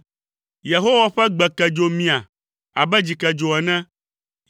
Yehowa ƒe gbe ke dzo mia abe dzikedzo ene.